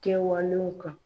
Kɛwalenw kan.